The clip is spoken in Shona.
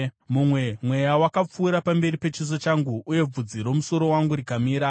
Mumwe mweya wakapfuura pamberi pechiso changu, uye bvudzi romusoro wangu rikamira.